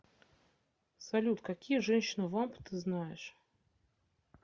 салют какие женщина вамп ты знаешь